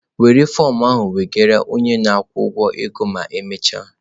Were fọm ahụ gakwuru onye na-akwụ ụgwọ ego ma emechaa!